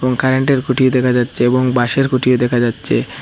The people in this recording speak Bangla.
কারেন্টের খুঁটি দেখা যাচ্ছে এবং বাঁশের খুঁটিও দেখা যাচ্ছে।